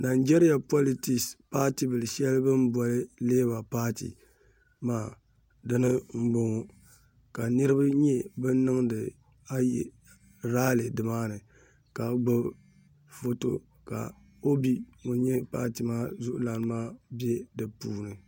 nanjɛliya politisi paatibil' shɛli bɛ ni boli leeba paati maa dina m-bɔŋɔ ka niriba nyɛ ban niŋdi aye raali nimaani ka gbubi foto ka obi ŋun nyɛ paati maa zuɣulana maa be di puuni